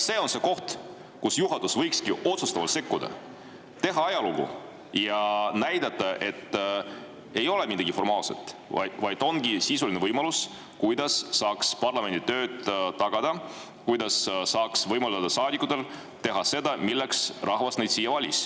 See on see koht, kus juhatus võikski otsustavalt sekkuda, teha ajalugu ja näidata, et see ei ole mingi formaalne, vaid tegelik võimalus parlamendi tööd tagada, võimaldada saadikutel teha seda, milleks rahvas nad siia valis.